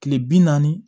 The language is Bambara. Kile bi naani